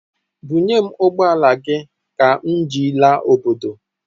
Bunyem ụgbọala gị ka m ji laa obodo!